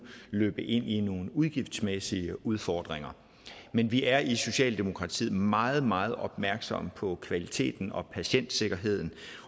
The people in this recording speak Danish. løbe ind i nogle udgiftsmæssige udfordringer men vi er i socialdemokratiet meget meget opmærksomme på kvaliteten og patientsikkerheden